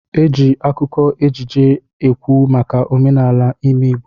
Eji akụkọ ejije ekwu maka omenala ime obodo.